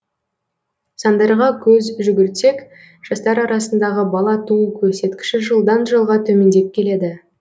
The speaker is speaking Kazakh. сандарға көз жүгіртсек жастар арасындағы бала туу көрсеткіші жылдан жылға төмендеп келеді